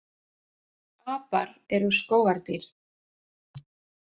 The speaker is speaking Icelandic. Apar eru skógardýr.